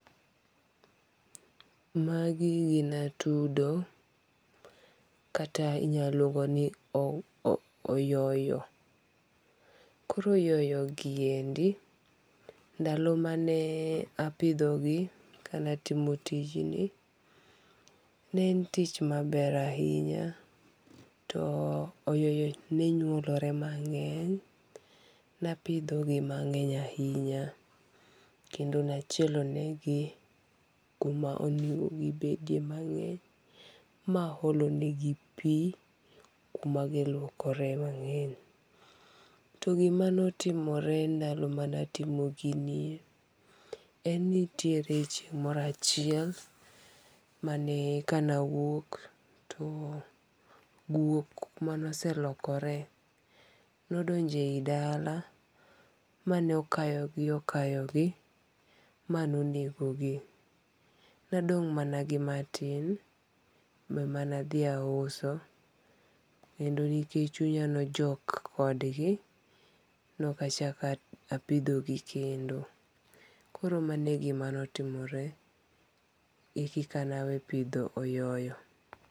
Ma gi gin atudo , kata inya luongo ni oyo oyoyo. Koro oyoyo gi endi ndalo ma ne apidho gi ka ne atimo tijni ne en tich ma ber ahinya to oyoyo ne nyuolore mang'eny, na apidho gi mangeny ahinya kendo naachielo ne gi ku ma gi bede ma ma aolo ne gi pi ku ma gi luokore mange'ny. To gi ma ne otimore ndalo mane atimo gini en ni nitiere chieng' moro achiel ma ne ka ne awuok to guok mane oselokore ne odonje e dala mane okayo gi okayo gi ma ne onego gi. Ne adong' mana gi ma tin ema ne adhi auso, kendo nekech chunya ne ojok kod gi nok achako apidho gi kendo. Koro mano e gi ma ne otimore eki kaka ne awe pidho oyoyo.